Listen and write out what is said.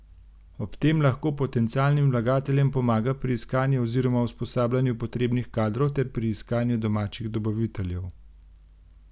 Ob tem lahko potencialnim vlagateljem pomaga pri iskanju oziroma usposabljanju potrebnih kadrov ter pri iskanju domačih dobaviteljev.